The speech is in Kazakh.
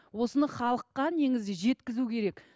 осына халыққа негізі жеткізу керек